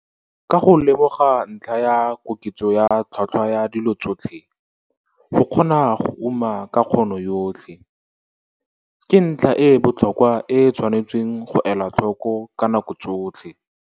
Ka go lemoga ntlha ya koketso ya tlhotlhwa ya dilo tsotlhe, go kgona go uma ka kgono yotlhe, ke ntlha e e botlhokwa e e tshwanetseng go elwa tlhoko ka nako tsotlhe.